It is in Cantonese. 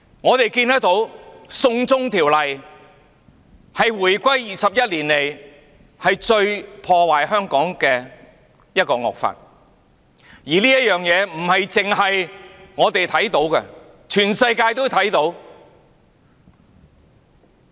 我們看到"送中條例"是回歸21年來對香港造成最大破壞的惡法，而這件事不單是我們看得見，全世界也看得見。